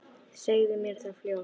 Segðu mér það fljótt.